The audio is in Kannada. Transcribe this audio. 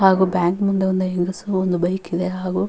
ಹಾಗು ಬ್ಯಾಂಕ್ ಮುಂದೆ ಒಂದು ಹೆಂಗಸು ಒಂದು ಬೈಕ್ ಇದೆ ಹಾಗು --